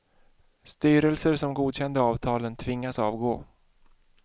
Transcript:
Styrelser som godkände avtalen tvingas avgå.